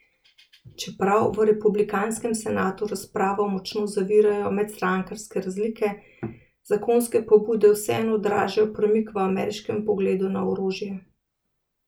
Čeprav v republikanskem senatu razpravo močno zavirajo medstrankarske razlike, zakonske pobude vseeno odražajo premik v ameriškem pogledu na orožje.